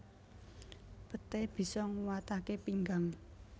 Peté bisa nguwataké pinggang